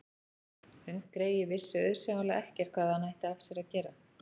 Hundgreyið vissi auðsjáanlega ekkert hvað hann ætti af sér að gera.